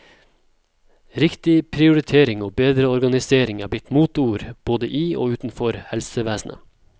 Riktig prioritering og bedre organisering er blitt moteord, både i og utenfor helsevesenet.